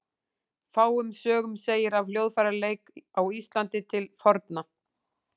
Fáum sögum segir af hljóðfæraleik á Íslandi til forna.